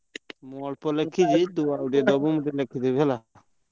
ମୁଁ ଅଳ୍ପ ଲେଖିଛି ତୁ ଆଉଟିକେ ଦବୁ ମୁଁ ଲେଖିଦେବୀ।